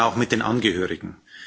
Wir trauern auch mit den Angehörigen.